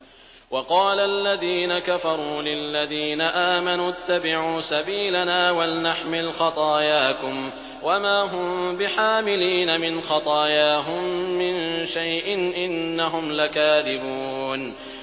وَقَالَ الَّذِينَ كَفَرُوا لِلَّذِينَ آمَنُوا اتَّبِعُوا سَبِيلَنَا وَلْنَحْمِلْ خَطَايَاكُمْ وَمَا هُم بِحَامِلِينَ مِنْ خَطَايَاهُم مِّن شَيْءٍ ۖ إِنَّهُمْ لَكَاذِبُونَ